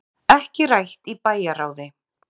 Ekki rætt í bæjarráði